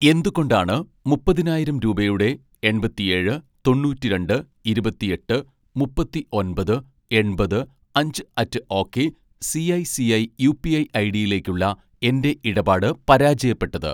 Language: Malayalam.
എന്തുകൊണ്ടാണ് മുപ്പതിനായിരം രൂപയുടെ എൺപത്തിയേഴ് തൊണ്ണൂറ്റി രണ്ട് ഇരുപത്തിയെട്ട് മുപ്പത്തിഒമ്പത് എൺപത് അഞ്ച് at ok CI CI UPI ഐഡിയിലേക്കുള്ള എൻ്റെ ഇടപാട് പരാജയപ്പെട്ടത്?